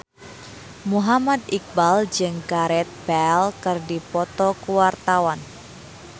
Muhammad Iqbal jeung Gareth Bale keur dipoto ku wartawan